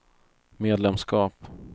medlemskap